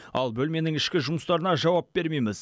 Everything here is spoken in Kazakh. ал бөлменің ішкі жұмыстарына жауап бермейміз